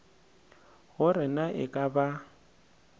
gore na e ka ba